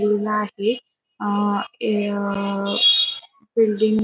ठेवला आहे अ ए कोल्ड्रिंक --